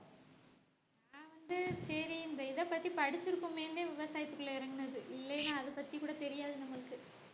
அது சரி இந்த இதைப்பத்தி படிச்சிருக்கோமேன்னு விவசாயத்துக்குள்ள இறங்குனது இல்லனா அதைப் பத்தி கூட தெரியாது நம்மளுக்கு